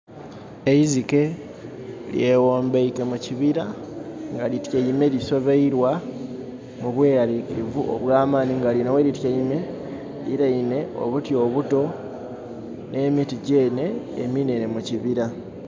Eizike lyeghombaike mu kibira nga lityaime lisobailwa mu bweralikirivu obwamanhi nga linho gh'elityaime lirirainhe obuti obuto nh'emiti gyeenhe eminhenhe mukibira.